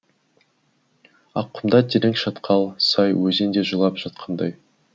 аққұмда терең шатқал сай өзен де жылап жатқандай